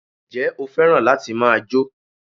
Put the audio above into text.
Njé o fẹ́ràn láti ma jó?